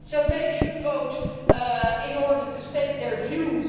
So they should vote in order to state their views.